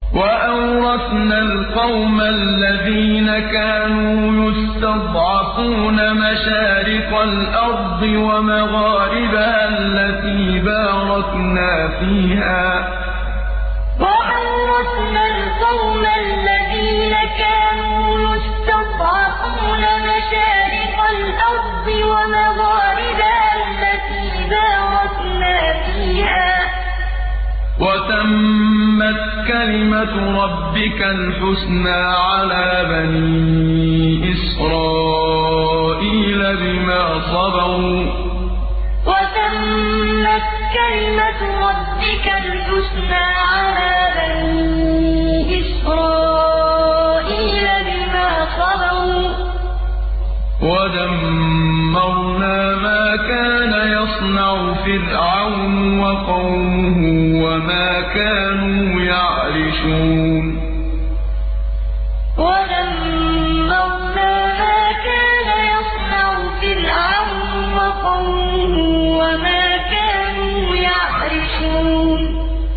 وَأَوْرَثْنَا الْقَوْمَ الَّذِينَ كَانُوا يُسْتَضْعَفُونَ مَشَارِقَ الْأَرْضِ وَمَغَارِبَهَا الَّتِي بَارَكْنَا فِيهَا ۖ وَتَمَّتْ كَلِمَتُ رَبِّكَ الْحُسْنَىٰ عَلَىٰ بَنِي إِسْرَائِيلَ بِمَا صَبَرُوا ۖ وَدَمَّرْنَا مَا كَانَ يَصْنَعُ فِرْعَوْنُ وَقَوْمُهُ وَمَا كَانُوا يَعْرِشُونَ وَأَوْرَثْنَا الْقَوْمَ الَّذِينَ كَانُوا يُسْتَضْعَفُونَ مَشَارِقَ الْأَرْضِ وَمَغَارِبَهَا الَّتِي بَارَكْنَا فِيهَا ۖ وَتَمَّتْ كَلِمَتُ رَبِّكَ الْحُسْنَىٰ عَلَىٰ بَنِي إِسْرَائِيلَ بِمَا صَبَرُوا ۖ وَدَمَّرْنَا مَا كَانَ يَصْنَعُ فِرْعَوْنُ وَقَوْمُهُ وَمَا كَانُوا يَعْرِشُونَ